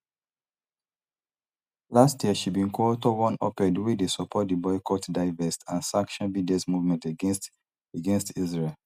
last year she bin coauthor one oped wey dey support di boycott divest and sanction bds movement against against israel